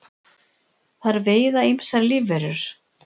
þær veiða ýmsar lífverur